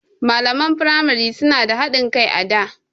Malaman firamai suna da haɗin kai a da.